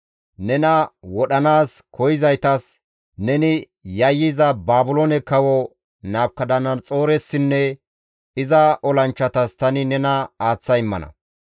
Nena wodhanaas koyzaytas, neni yayyiza Baabiloone Kawo Nabukadanaxooressinne iza olanchchatas tani nena aaththa immana.